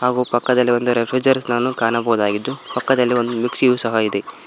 ಹಾಗು ಪಕ್ಕದಲ್ಲಿ ಒಂದು ರೆಫ್ರಿಜಿರೇಟರ್ ನನ್ನು ಕಾಣಬೌದಗಿದ್ದು ಪಕ್ಕದಲ್ಲಿ ಒಂದು ಮಿಕ್ಸಯು ಸಹ ಇದೆ.